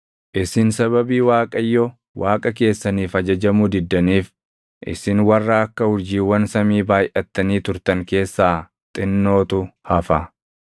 Isin sababii Waaqayyo Waaqa keessaniif ajajamuu diddaniif isin warra akka urjiiwwan samii baayʼattanii turtan keessaa xinnootu hafa.